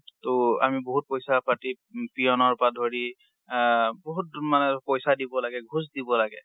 ট আমি বহুত পৈছা পাতি peon ৰ পৰা ধৰি আ বহুত মানে পৈছা দিব লাগে, ঘোচ দিব লাগে।